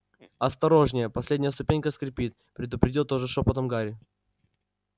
осторожнее последняя ступенька скрипит предупредил тоже шёпотом гарри